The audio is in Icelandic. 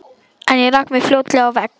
En ég rak mig fljótlega á vegg.